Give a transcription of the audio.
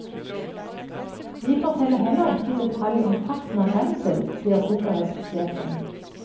Vi forteller heller ikke i detalj om frakten av brensel, sier sikkerhetssjefen.